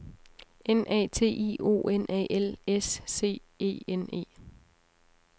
N A T I O N A L S C E N E